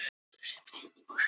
Askja og Öskjuvatn.